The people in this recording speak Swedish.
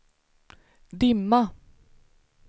dimma